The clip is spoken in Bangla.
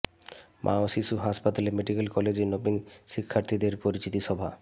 মা ও শিশু হাসপাতাল মেডিকেল কলেজে নবীন শিক্ষার্থীদের পরিচিতি সভা